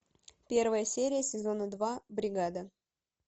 первая серия сезона два бригада